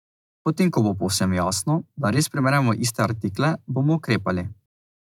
Potem ko bo povsem jasno, da res primerjamo iste artikle, bomo ukrepali.